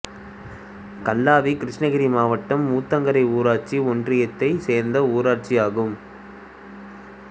கல்லாவி கிருஷ்ணகிரி மாவட்டம் ஊத்தங்கரை ஊராட்சி ஒன்றியத்தைச் சேர்ந்த ஊராட்சியாகும்